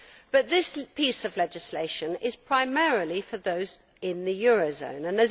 but this piece of legislation is primarily for those in the euro area.